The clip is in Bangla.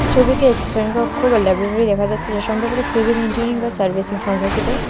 ছবিতে একটি শ্রেণীকক্ষ বা ল্যাবরেটরি দেখা যাচ্ছে যা সম্পর্কিত সিভিল ইঞ্জিনিয়ারিং বা সার্ভিসিং সম্পর্কিত।